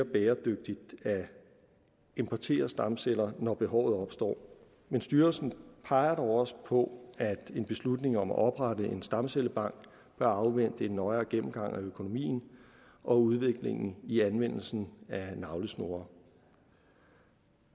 bæredygtigt at importere stamceller når behovet opstår men styrelsen peger dog også på at en beslutning om at oprette en stamcellebank bør afvente en nøjere gennemgang af økonomien og udviklingen i anvendelsen af navlesnore